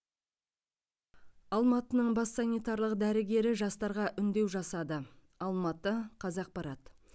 алматының бас санитарлық дәрігері жастарға үндеу жасады алматы қазақпарат